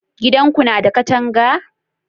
gidan Ku na da katanga?